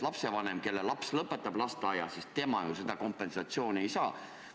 Lapsevanem, kelle laps lõpetab lasteaia, seda kompensatsiooni ei saa.